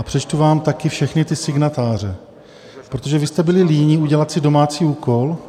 A přečtu vám taky všechny ty signatáře, protože vy jste byli líní udělat si domácí úkol.